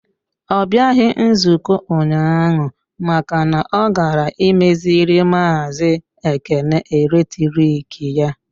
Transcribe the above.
Ọ bịaghị nzukọ ụnyaahụ maka na ọ gara imeziri maazi Ekene eletrik ya.